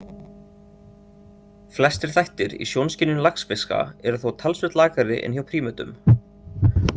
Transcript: Flestir þættir í sjónskynjun laxfiska eru þó talsvert lakari en hjá prímötum.